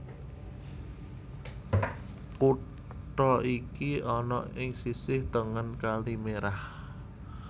Kutha iki ana ing sisih tengen Kali Merah